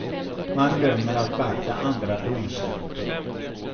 Man glömmer att beakta andra domslut.